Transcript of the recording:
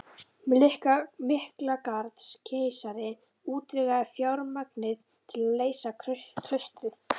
Miklagarðskeisari útvegaði fjármagnið til að reisa klaustrið